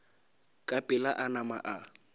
ka pela a nama a